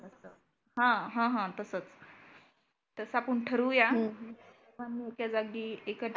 हं हं तसचं. तसं आपण ठरवूया. च्या जागी एक